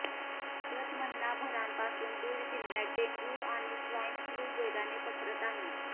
गत महिनाभरापासून बीड जिल्ह्यात डेंग्यू आणि स्वाईन फ्ल्यू वेगाने पसरत आहेत